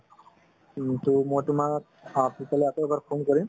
মই তুমাক পিছলৈ আকৌ এবাৰ phone কৰিম